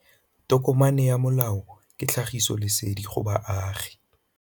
Tokomane ya molao ke tlhagisi lesedi go baagi.